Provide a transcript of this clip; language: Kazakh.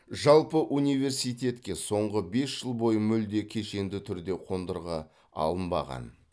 жалпы университетке соңғы бес жыл бойы мүлде кешенді түрде қондырғы алынбаған